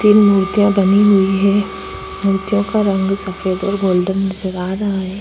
तीन मूर्तियां बनी हुई है। मूर्तियों का रंग सफेद और गोल्डन नजर आ रहा है।